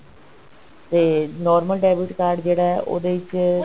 ਤੇ normal debit card ਜਿਹੜਾ ਹੈ ਉਹਦੇ ਵਿੱਚ